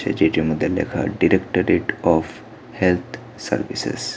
যেইটির মধ্যে লেখা directorate of health services.